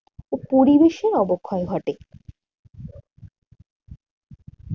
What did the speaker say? ও পরিবেশের অবক্ষয় ঘটে।